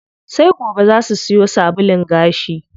Sai goben zaa su siyo sabulun gashi.